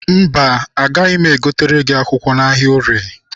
Mba, agaghị egotere gị akwụkwọ n'ahịa orie.